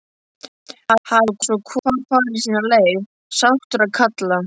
Hafi svo hvor farið sína leið, sáttur að kalla.